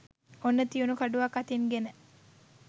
ඔන්න තියුණු කඩුවක් අතින් ගෙන